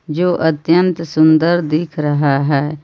जो अत्यंत सुंदर दिख रहा है.